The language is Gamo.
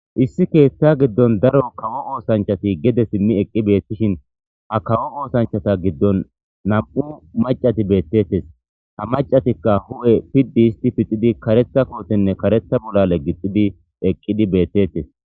Issi keeththa giddon daro kawo oosanchati gede simmi eqqi beettishin ha kawo oosanchata giddon nam'u macati beettettes ha macatikka hu'e piddi isti pixidi karetha kootenne karetha bollale gixidi eqqidi beettettes.